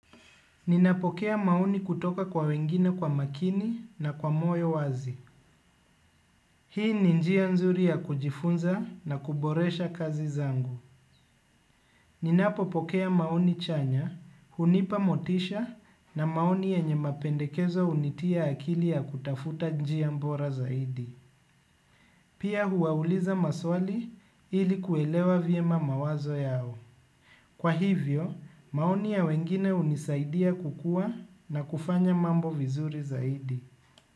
Ninapokea maoni kutoka kwa wengine kwa makini na kwa moyo wazi. Hii ni njia nzuri ya kujifunza na kuboresha kazi zangu. Ninapo pokea maoni chanya, hunipa motisha na maoni yenye mapendekezo hunitia akili ya kutafuta njia bora zaidi. Pia huwauliza maswali ili kuelewa vyema mawazo yao. Kwa hivyo, maoni ya wengine hunisaidia kukua na kufanya mambo vizuri zaidi.